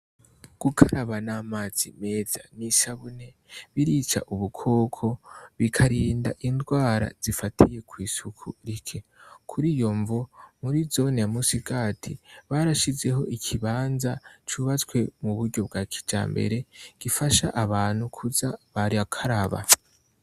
Gukaraba n'amazi meza n'isabune birica ubukoko bikarinda indwara zifatiye kw'isuku rike kuri iyo mvu muri zone ya Musigati barashizeho ikibanza cubatswe mu buryo bwa kijambere gifasha abantu kuza baryakaraba.